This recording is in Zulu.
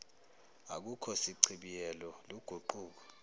akukho sichibiyelo luguquko